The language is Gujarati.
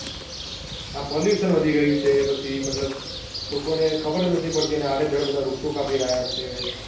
આ pollution વધી ગયું છે પછી મતલબ લોકોને ખબર નથી પડતી ને અડ્ડેડ્સ બધા વૃક્ષઓ કાપી રહ્યા છે